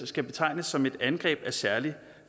skal betegnes som et angreb af særlig